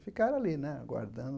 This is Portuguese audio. Ficaram ali, né, aguardando.